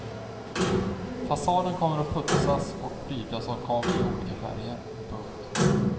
Fasaden kommer att putsas och prydas av kakel i olika färger. punkt